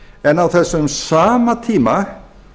en á þessum sama tíma